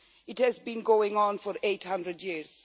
It has been going on for 800 years.